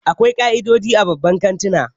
Akwai ka'idoji a babban kantuna